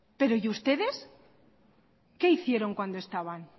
pero y ustedes qué hicieron cuando estaban